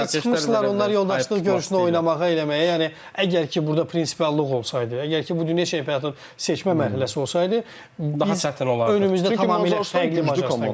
Sadəcə çıxmışdılar onlar yoldaşlıq görüşünə oynamağa, eləməyə, yəni əgər ki, burda prinsipallıq olsaydı, əgər ki, bu dünya çempionatının seçmə mərhələsi olsaydı, önümüzdə tamamilə fərqli komanda var idi.